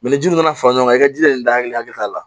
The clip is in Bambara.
ni ji nana fara ɲɔgɔn kan i ka ji de dali hakɛ t'a la